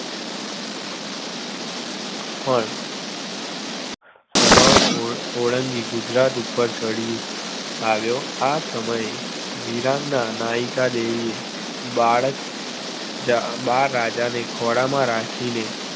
પણ રણ ઓળંગી ગુજરાત ઉપર ચડી આવ્યો આ સમયે વીરાંગના નાયિકાદેવીએ બાળ બાળ રાજાને ખોળામાં રાખીને